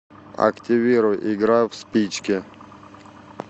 активируй игра в спички